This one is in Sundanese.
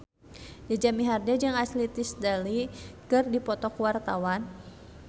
Jaja Mihardja jeung Ashley Tisdale keur dipoto ku wartawan